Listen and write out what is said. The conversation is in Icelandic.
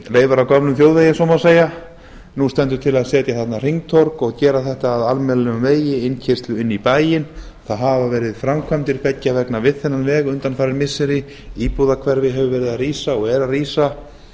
leifar af gömlum þjóðvegi ef svo má segja nú stendur til að setja þarna hringtorg og gera gert að almennilegum vegi innkeyrslu inn í bæinn það hafa verið framkvæmdir beggja vegna við þennan veg undanfarin missiri íbúahverfi hefur verið að rísa og er að rísa